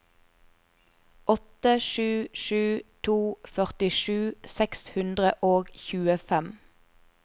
åtte sju sju to førtisju seks hundre og tjuefem